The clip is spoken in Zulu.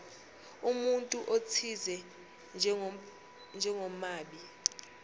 umuntu othize njengomabi